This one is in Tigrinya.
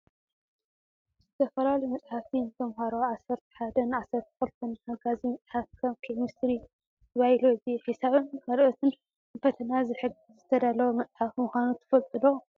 ዝተፈላለዩ መፃሓፍቲ ንተማሃሮ ዓሰርተ ሓደን ዓሰርተ ክልተን ሓጋዚ መፅሓፍ ከም ኬሚስትሪ፣ ባይሎጂ፣ ሒሳብን ካልኦትን ንፈተና ዝሕግዝ ዝተዳለወ መፅሓፍ ምኳኑ ትፈልጡ ዶ ?